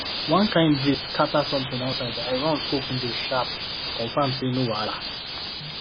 one kind breeze scatter something outside i run scope window sharp to confirm say no wahala